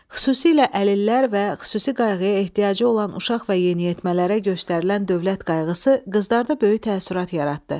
Xüsusilə əlillər və xüsusi qayğıya ehtiyacı olan uşaq və yeniyetmələrə göstərilən dövlət qayğısı qızlarda böyük təəssürat yaratdı.